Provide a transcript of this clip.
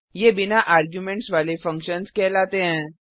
ये बिना आर्गुमेंट्स वाले फंक्शन्स कहलाते हैं